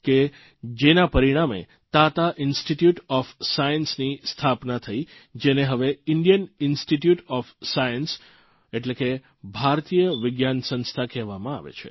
કે જેના પરિણામે તાતા ઇન્સિટીટયુટ ઓફ સાયન્સની સ્થાપના થઇ જેને હવે ઇન્ડિયન ઇન્સ્ટીટીયુટ ઓફ સાયન્સ ભારતીય વિજ્ઞાન સંસ્થા કહેવામાં આવે છે